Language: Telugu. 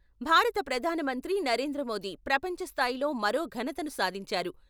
భారత ప్రధానమంత్రి నరేంద్రమోదీ ప్రపంచ స్థాయిలో మరో ఘనతను సాధించారు.